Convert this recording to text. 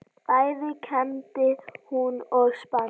Bæði kembdi hún og spann.